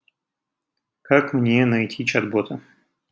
как мне найти чат бота